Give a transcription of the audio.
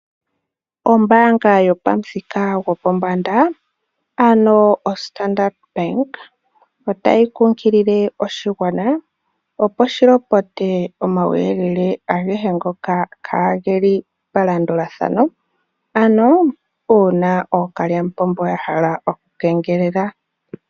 Ombaanga yomuthika gopombanda ano oStandard Bank , otayi kunkilie oshigwana opo shilopote omauyelele agehe ngoka kaa geli palandulathano, ano uuna uuna ookalyamupombo yahala okukengelela.